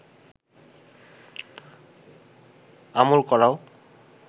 আমল করাও